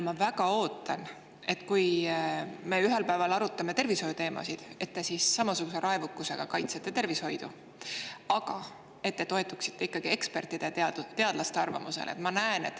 Ma väga ootan, et kui me ühel päeval arutame tervishoiuteemasid, et te siis samasuguse raevukusega kaitsete tervishoidu, aga toetute ikkagi ekspertide ja teadlaste arvamusele.